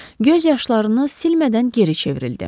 Göz yaşlarını silmədən geri çevrildi.